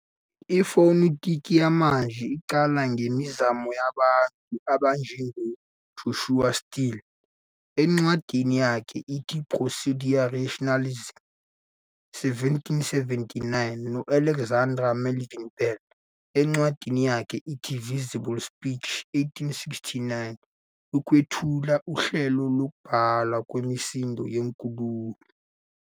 Ifonetiki yamanje iqala ngemizamo yabantu abanjengoJoshua Steele, encwadini yakhe ethi "Prosodia Rationalis", 1779, no-Alexander Melville Bell, encwadini yakhe ethi "Visible Speech", 1867, ukwethula uhlelo lokubhalwa kwemisindo yenkulumo.